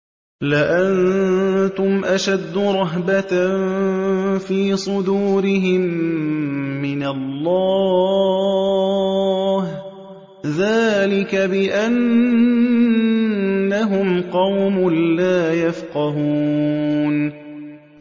لَأَنتُمْ أَشَدُّ رَهْبَةً فِي صُدُورِهِم مِّنَ اللَّهِ ۚ ذَٰلِكَ بِأَنَّهُمْ قَوْمٌ لَّا يَفْقَهُونَ